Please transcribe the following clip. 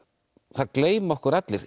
það gleyma okkur allir